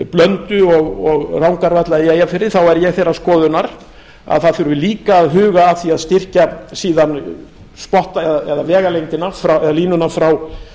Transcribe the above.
blöndu og rangárvalla í eyjafirði þá er ég þeirrar skoðunar að það þurfi líka að huga að því að styrkja síðan spottann eða vegalengdina línuna frá